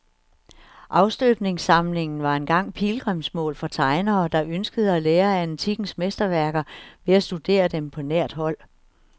Afstøbningssamlingen var engang pilgrimsmål for tegnere, der ønskede at lære af antikkens mesterværker ved at studere dem på nært hold.